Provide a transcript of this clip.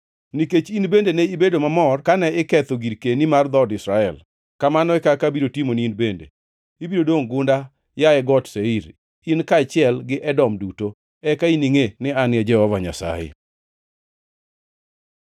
Nikech in bende ne ibedo mamor kane iketho girkeni mar dhood Israel, kamano e kaka abiro timoni in bende. Ibiro dongʼ gunda, yaye Got Seir, in kaachiel gi Edom duto. Eka giningʼe ni An e Jehova Nyasaye.’ ”